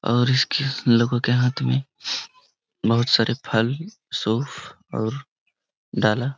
और इसके लोगों के हाथ मे बहुत सारे फल सोफ़ और डाला।